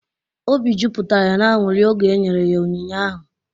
Obi jupụtara ya n'aṅụri oge e nyere ya onyinye ahụ.